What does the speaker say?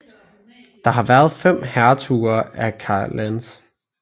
Der har været fem hertuger af Clarence